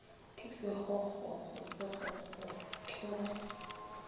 ke sekgokgokgo sekgokgokgo ke go